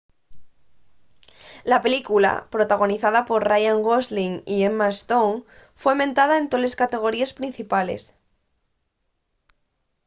la película protagonizada por ryan gosling y emma stone foi mentada en toles categoríes principales